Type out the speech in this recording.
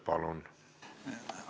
Palun!